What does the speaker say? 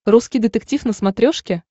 русский детектив на смотрешке